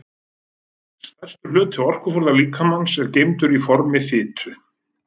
Stærstur hluti orkuforða líkamans er geymdur í formi fitu.